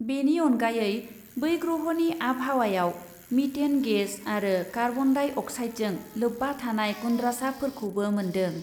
बेनि अनगायै बै ग्रहनि आबहावायाव मिटेन गेस आरो कार्बन डाइ अक्साइडजों लोब्बा थानाय गुन्द्रासाफोरखौबो मोन्दों।